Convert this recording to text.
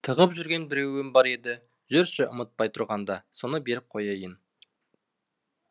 тығып жүрген біреуім бар еді жүрші ұмытпай тұрғанда соны беріп қояйын